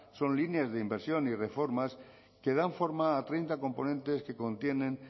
son líneas de inversión y reformas que dan forma a treinta componentes que contienen